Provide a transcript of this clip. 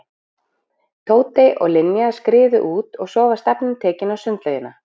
Tóti og Linja skriðu út og svo var stefnan tekin á sundlaugina.